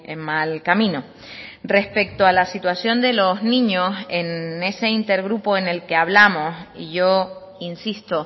en mal camino respecto a la situación de los niños en ese intergrupo en el que hablamos y yo insisto